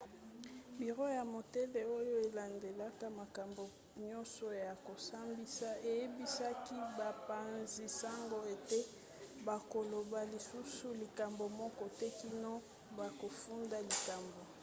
biro ya motole oyo elandelaka makambo nyonso ya kosambisa eyebisaki bapanzi-sango ete bakoloba lisusu likambo moko te kino bakofunda likambo